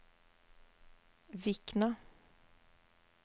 Vikna